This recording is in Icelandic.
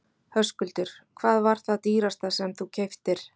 Höskuldur: Hvað var það dýrasta sem þú keyptir?